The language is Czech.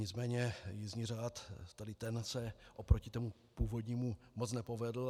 Nicméně jízdní řád, tedy ten se oproti tomu původnímu moc nepovedl.